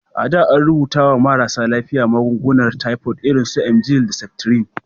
A da, an rubuta wa marasa lafiya magungunan tifod irin su emgyl da septrin.